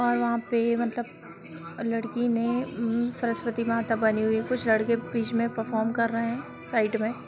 और वहाँ पे मतलब लड़की ने उम सरस्वती माता बनी हुई है कुछ लड़के बीच में परफॉर्म कर रहें हैं साइड में।